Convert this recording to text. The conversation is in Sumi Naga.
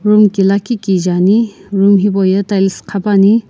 room ki lakhi kije ani room hipauye tiles qhapuani.